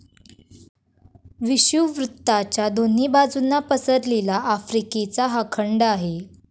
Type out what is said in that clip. विषुववृत्ताच्या दोन्ही बाजूंना पसरलेला आफ्रिका हा खंड आहे.